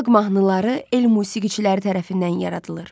Xalq mahnıları el musiqiçiləri tərəfindən yaradılır.